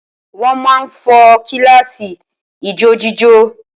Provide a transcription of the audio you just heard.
Wọ́n máà ń fo kíláàsì ijójíjó